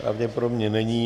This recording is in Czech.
Pravděpodobně není.